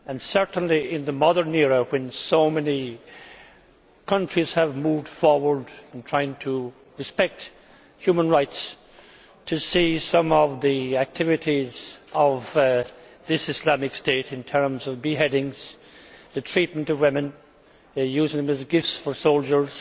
Certainly in the modern era, when so many countries have moved forward in trying to respect human rights, to see some of the activities of this Islamic State, in terms of beheadings, the treatment of women and their use as gifts for soldiers,